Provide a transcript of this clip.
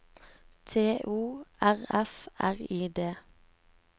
T O R F R I D